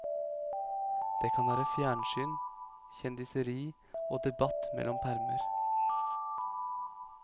Det kan være fjernsyn, kjendiseri og debatt mellom permer.